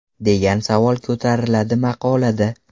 degan savol ko‘tariladi maqolada.